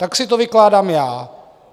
Tak si to vykládám já.